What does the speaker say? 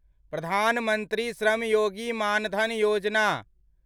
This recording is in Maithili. प्रधान मंत्री श्रम योगी मान धन योजना